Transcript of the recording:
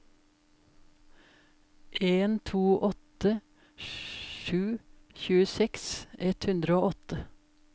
en to åtte sju tjueseks ett hundre og åtte